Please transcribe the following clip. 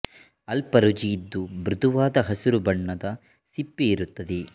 ಅಲ್ಪ ರುಚಿ ಇದ್ದು ಮೃದುವಾದ ಹಸಿರು ಬಣ್ಣದ ಸಿಪ್ಪೆ ಇರುತ್ತದೆ